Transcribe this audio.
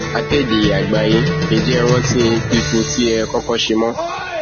akéde àgbáyé ǹjẹ ẹ rántí píkún tẹ ẹ kọkọ ṣe mọ